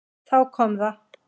Þá kom það.